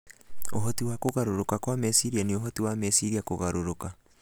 Ũhoti wa kũgarũrũka kwa meciria nĩ ũhoti wa meciria kũgarũrũka